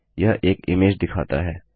यह एक इमेज दिखाता है